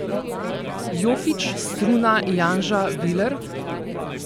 Jokić, Struna, Janža, Viler?